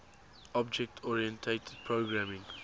object oriented programming